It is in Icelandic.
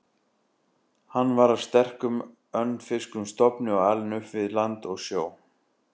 Hann var af sterkum, önfirskum stofni og alinn upp við land og sjó.